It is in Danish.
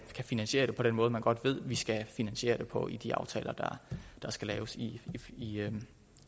finansiere det på den måde som man godt ved vi skal finansiere det på i de aftaler der skal laves i i en